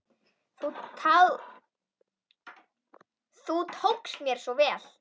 Þú tókst mér svo vel.